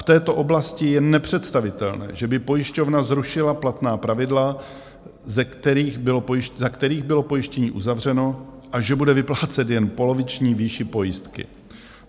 V této oblasti je nepředstavitelné, že by pojišťovna zrušila platná pravidla, za kterých bylo pojištění uzavřeno, a že bude vyplácet jen poloviční výši pojistky.